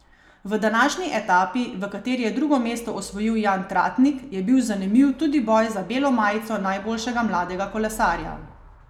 V današnji etapi, v kateri je drugo mesto osvojil Jan Tratnik, je bil zanimiv tudi boj za belo majico najboljšega mladega kolesarja.